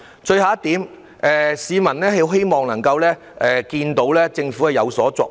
最後一點，市民希望看到政府有所作為。